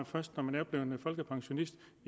først når man er blevet folkepensionist